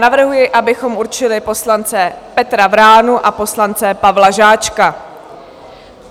Navrhuji, abychom určili poslance Petra Vránu a poslance Pavla Žáčka.